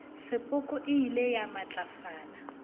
sepoko e ile ya matlafala